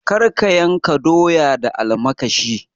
Kar ka yanka doya da almakashi.